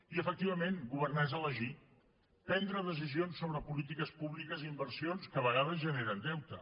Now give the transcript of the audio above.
i efectivament governar és elegir prendre decisions sobre polítiques públiques i inversions que a vegades generen deute